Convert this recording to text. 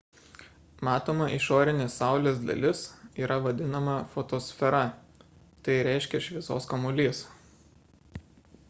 matoma išorinė saulės dalis yra vadinama fotosfera tai reiškia šviesos kamuolys